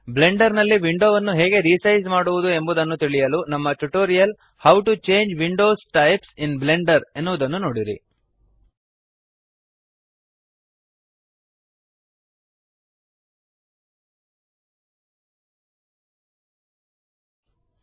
Blender ನಲ್ಲಿ ವಿಂಡೋವನ್ನು ಹೇಗೆ ರಿಸೈಜ್ ಮಾಡುವುದು ಎಂಬುದನ್ನು ತಿಳಿಯಲು ನಮ್ಮ tutorial how to change window types in Blender how to change window types in Blender ಎನ್ನುವುದನ್ನು ನೋಡಿರಿ